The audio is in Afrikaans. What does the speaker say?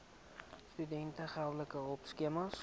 studente geldelike hulpskema